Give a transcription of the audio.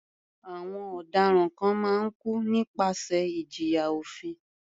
Àwọn ọ̀daràn kan máa ń kú nípasẹ̀ ìjìyà òfin.